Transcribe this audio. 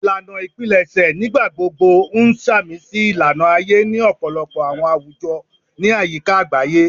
Ilana ipilẹṣẹ nigbagbogbo n samisi ilana aye ni ọpọlọpọ awọn awujọ ni ayika agbaye